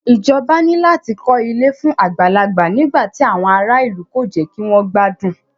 Ìjọba ní láti kọ ilé fún àgbàlagbà nígbà tí àwọn ará ìlú kò jẹ́ kí wọ́n gbádùn.